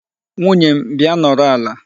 Nwunye m, bịa nọrọ ala.